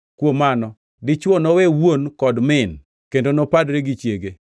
‘Kuom mano, dichwo nowe wuon kod min kendo nopadre gi chiege,